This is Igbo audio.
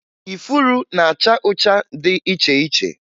Ifuru na-acha ụcha dị iche iche